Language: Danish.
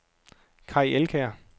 Kai Elkjær